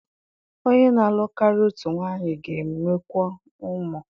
Onye na-alụ karịa otu nwanyị ga-enwekwu ụmụ.